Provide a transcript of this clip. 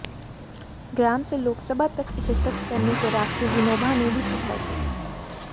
ग्राम से लोकसभा तक इसे सच करने के रास्ते विनोबा ने भी सुझाये थे